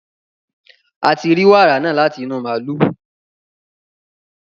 a ti rí wàrà náà láti inú màlúù